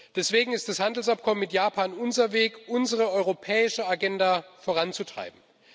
Deswegen ist das Handelsabkommen mit Japan unser Weg, unsere europäische Agenda voranzutreiben.